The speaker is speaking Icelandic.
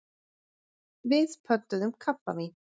Við pöntuðum kampavín.